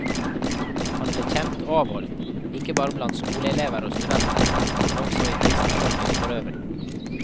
Han ble kjent og avholdt, ikke bare blant skoleelever og studenter, men også i kristenfolket forøvrig.